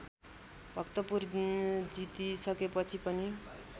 भक्तपुर जितिसकेपछि पनि